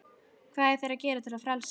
Hvað eiga þeir að gera til að frelsast?